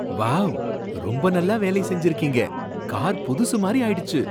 Wow! ரொம்ப நல்லா வேலை செஞ்சிருக்கீங்க. கார் புதுசு மாதிரி ஆயிடுச்சு!